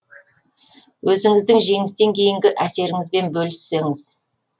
өзіңіздің жеңістен кейінгі әсеріңізбен бөліссеңіз